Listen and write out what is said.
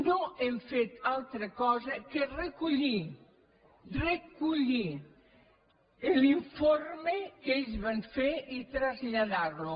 no hem fet altra cosa que recollir recollir l’informe que ells van fer i traslladar lo